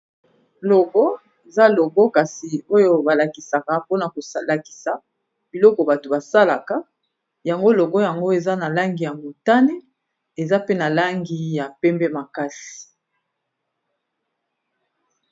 logo eza logo kasi oyo balakisaka mpona koslakisa biloko bato basalaka yango logo yango eza na langi ya motane eza pe na langi ya pembe makasi